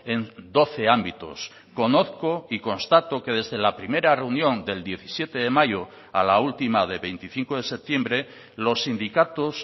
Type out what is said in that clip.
en doce ámbitos conozco y constato que desde la primera reunión del diecisiete de mayo a la última de veinticinco de septiembre los sindicatos